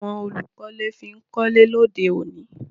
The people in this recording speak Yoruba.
Kíni àwon olùkọ́lé fi n kọ́lé lóde òní